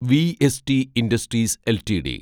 VST industries LTD